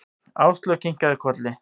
Áslaug kinkaði kolli.